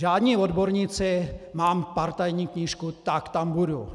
Žádní odborníci, mám partajní knížku, tak tam budu.